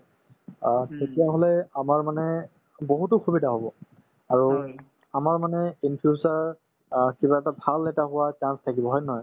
অ, তেতিয়াহলে আমাৰ মানে বহুতো সুবিধা হব আৰু আমাৰ মানে in future অ কিবা এটা ভাল এটা হোৱাৰ chance থাকিব হয় নে নহয়